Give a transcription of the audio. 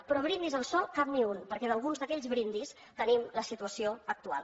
però brindis al sol cap ni un perquè d’alguns d’aquells brindis tenim la situació actual